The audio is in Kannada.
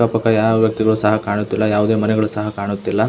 ಅಕ್ಕ ಪಕ್ಕ ಯಾವ ವ್ಯಕ್ತಿಗಳು ಸಹ ಕಾಣುತ್ತಿಲ್ಲ ಯಾವುದೇ ಮನೆಗಳು ಸಹ ಕಾಣುತ್ತಿಲ್ಲ --